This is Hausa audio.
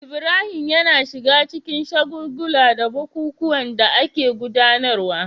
Ibrahim yana shiga cikin shagulgula da bukukuwan da ake gudanarwa